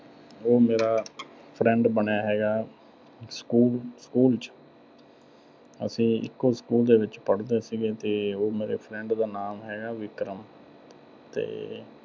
ਉਹ ਮੇਰਾ friend ਬਣਿਆ ਹੈਗਾ, school, school ਚ। ਅਸੀਂ ਇੱਕੋ school ਦੇ ਵਿੱਚ ਪੜ੍ਹਦੇ ਸੀਗੇ ਤੇ ਉਹ ਮੇਰੇ friend ਦਾ ਨਾਮ ਹੈਗਾ ਵਿਕਰਮ ਤੇ